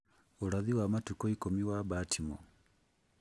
Ũrathi wa Matukũ Ikũmi wa Baltimore